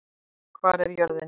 Hvar er jörðin?